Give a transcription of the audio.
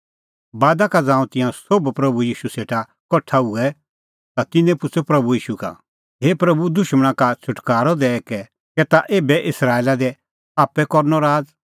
बादा का ज़ांऊं तिंयां सोभ प्रभू ईशू सेटा कठा हुऐ ता तिन्नैं पुछ़अ प्रभू ईशू का हे प्रभू दुशमणा का छ़ुटकारअ दैई कै ताह ऐबै इस्राएला दी आप्पै करनअ राज़